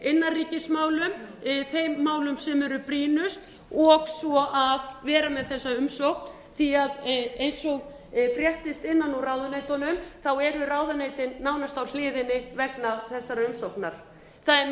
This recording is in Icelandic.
innanríkismálum þeim málum sem eru brýnust og svo að vera með þessa umsókn því að eins og fréttist innan úr ráðuneytunum eru þau nánast á hliðinni vegna þessarar umsóknar það